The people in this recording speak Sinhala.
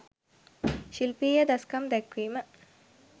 ශිල්පීය දස්කම් දැක්වීම